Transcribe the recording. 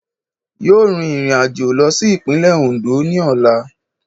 Yóò rin ìrìnàjò lọ sí ìpínlẹ̀ Oǹdó ní ọ̀la